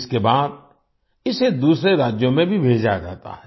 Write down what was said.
इसके बाद इसे दूसरे राज्यों में भी भेजा जाता है